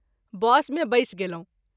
बस मे बैस गेलहुँ।